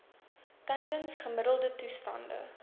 tydens gemiddelde toestande